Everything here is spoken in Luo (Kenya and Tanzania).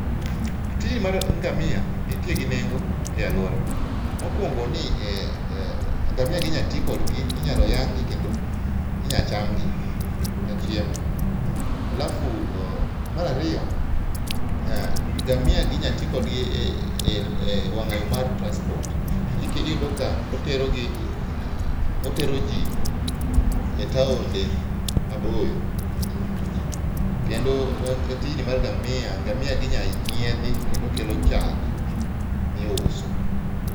Tij mar ngamia nitie gi nengo e aluora. Mokuongi ni ngamia gi inya tii kodgi, inya tii kodgi, inyalo yang gi kendo inyalo chamgi ka chiemo. Alafu mar ariyo ngamia gi inya tii kodgi e wanga yoo mar transport. Iyudo ka otero gi, otero jii e taonde maboyo kendo tijni mar ngamia, ngamia gi inya nyiedhi kendo kelo chak miuso